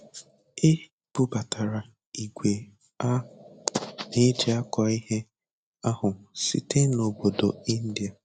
E bubatara ìgwè a na-eji akọ ihe ahụ site na obodo India.